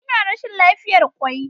Ina rashin lafiyar kwai.